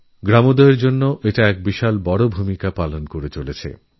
গ্রামোদয়ের জন্য খুব বড় ভূমিকা পালন করছে